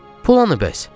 Pul hanı bəs?